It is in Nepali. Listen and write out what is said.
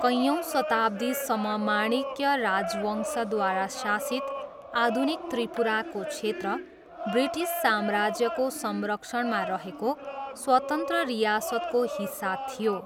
कैयौँ शताब्दीसम्म माणिक्य राजवंशद्वारा शासित आधुनिक त्रिपुराको क्षेत्र, ब्रिटिस साम्राज्यको संरक्षणमा रहेको स्वतन्त्र रियासतको हिस्सा थियो।